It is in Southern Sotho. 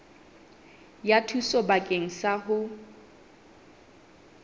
ya thuso bakeng sa ho